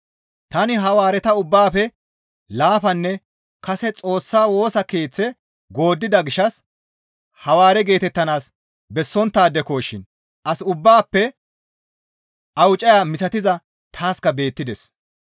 Tani Hawaareta ubbaafe laafanne kase Xoossa Woosa Keeththe gooddida gishshas Hawaare geetettanaas bessonttaadeko shin as ubbaafe awucaya misatiza taaska beettides.